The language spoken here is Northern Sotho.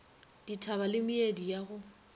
dithaba le meedi ya go